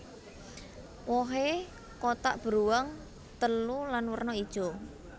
Wohé kotak beruang telu lan werna ijo